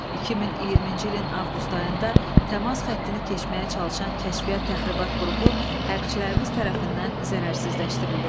2020-ci ilin avqust ayında təmas xəttini keçməyə çalışan kəşfiyyat təxribat qrupu hərbçilərimiz tərəfindən zərərsizləşdirildi.